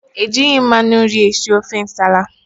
Ejighị mmanụ nri esi ofe Nsala